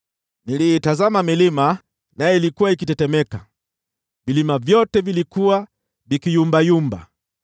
Niliitazama milima, nayo ilikuwa ikitetemeka, vilima vyote vilikuwa vikiyumbayumba.